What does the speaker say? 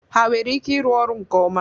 Ha nwere ike ịrụ ọrụ nke ọma?